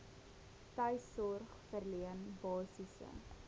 tuissorg verleen basiese